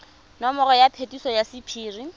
nomoro ya phetiso ya sephiri